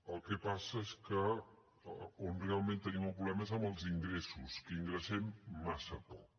el que passa és que on realment tenim el problema és en els ingressos que ingressem massa poc